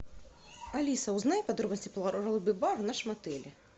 алиса узнай подробности про лобби бар в нашем отеле